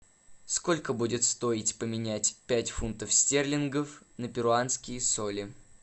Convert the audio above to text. сколько будет стоить поменять пять фунтов стерлингов на перуанские соли